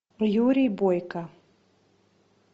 юрий бойко